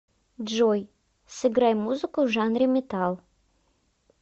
джой сыграй музыку в жанре метал